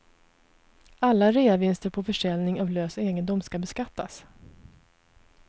Alla reavinster på försäljning av lös egendom ska beskattas.